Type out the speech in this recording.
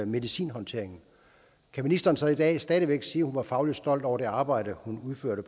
medicinhåndtering kan ministeren så i dag stadig væk sige at hun var fagligt stolt over det arbejde hun udførte